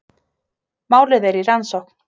Málið er í rannsókn